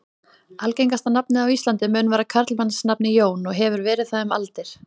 Algengasta nafnið á Íslandi mun vera karlmannsnafnið Jón og hefur verið það um aldir.